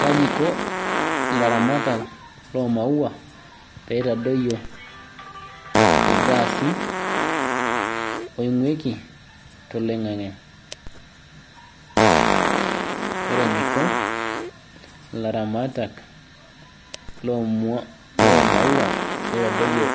Kaji iko laramatak lomawua peitadoyio irgaasi oibguiko toloingangu ore eniko laramatak lomawua peitadoyio